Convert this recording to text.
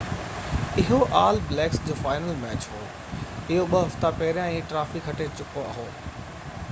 اهو All Blacks جو final match هو اهو ٻہ هفتا پهيريان ئي ٽرافي کٽي چڪو هو